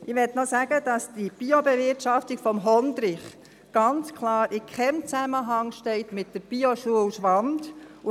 Ich möchte auch noch sagen, dass die Biobewirtschaftung des Hondrich ganz klar in keinem Zusammenhang mit der Bioschule Schwand steht.